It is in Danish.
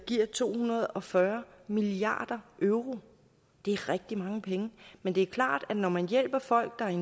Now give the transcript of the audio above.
giver to hundrede og fyrre milliard euro det er rigtig mange penge men det er klart at når man hjælper folk der er